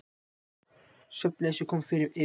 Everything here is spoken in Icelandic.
Svefnleysi kom yfir mig.